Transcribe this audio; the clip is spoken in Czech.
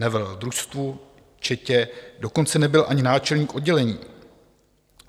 Nevelel družstvu, četě, dokonce nebyl ani náčelník oddělení.